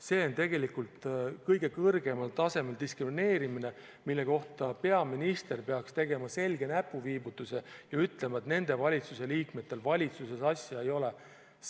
See on tegelikult kõige kõrgemal tasemel diskrimineerimine, mille kohta peaminister peaks tegema selge näpuviibutuse ja ütlema, et nendel valitsuse liikmetel valitsusse asja ei ole.